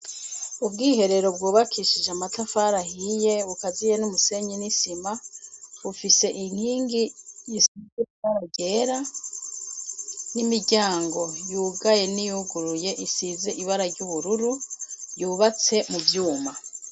Ubwiherero bwubakishije amatafari ahiye bukaziye n'umusenyi n'isima, bufise inkingi isize ibara ryera n'imiryango yugaye n'iyuguruye isize ibara ry'ubururu, yubatse mu vyuma.